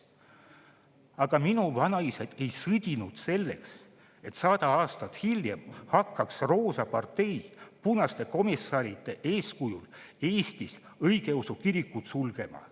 Aga minu vanaisad ei sõdinud selleks, et sada aastat hiljem hakkaks roosa partei punaste komissaride eeskujul Eestis õigeusu kirikut sulgema.